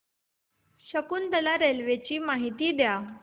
Shakuntala railway ची माहिती द्या